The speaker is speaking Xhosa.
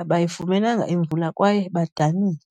abayifumenanga imvula kwaye badanile.